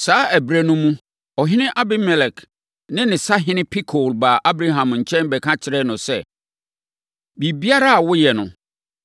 Saa ɛberɛ no mu, ɔhene Abimelek ne ne sahene Pikol baa Abraham nkyɛn bɛka kyerɛɛ no sɛ, “Biribiara a woyɛ no,